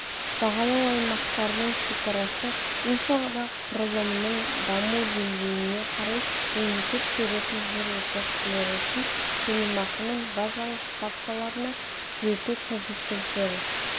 бағалау аймақтарының шекарасы инфрақұрылымның даму деңгейіне қарай мемлекет беретін жер учаскелері үшін төлемақының базалық ставкаларына түзету коэффициенттері